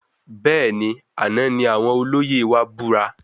Bẹẹni, àna ní àwọn olóyè wa búra